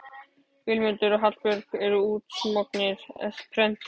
Vilmundur og Hallbjörn eru útsmognir esperantistar